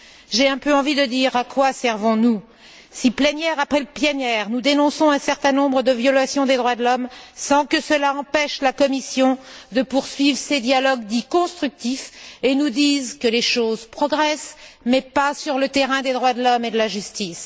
J'ai un peu envie de dire à quoi servons nous, si plénière après plénière nous dénonçons un certain nombre de violations des droits de l'homme sans que cela empêche la Commission de poursuivre ses dialogues dits constructifs et de nous dire que les choses progressent mais pas sur le terrain des droits de l'homme et de la justice?